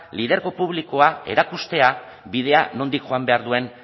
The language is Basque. lidergo publikoa erakustea bidea nondik joan behar duen